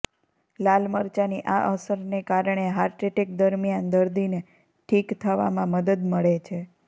લાલ મરચાની આ અસરને કારણે હાર્ટ એટેક દરમિયાન દર્દીને ઠીક થવામાં મદદ મળે છે